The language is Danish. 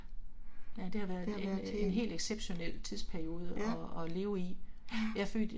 Det har været en. Ja. Ja